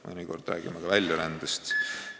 Mõnikord räägime ka väljarändest.